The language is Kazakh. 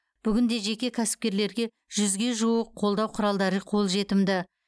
бүгінде жеке кәсіпкерлерге жүзге жуық қолдау құралдары қолжетімді